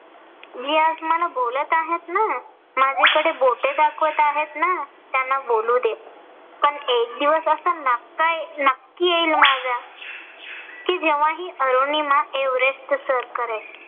जे आज मला बोलत आहेत ना. माझ्याकडे बोटे दाखवत आहेत ना. त्यांना बोलू दे पण एक दिवस असा नक्की येईल माझा कि जेंव्हा हि अरुनिमा एव्हरेस्ट सर करेल.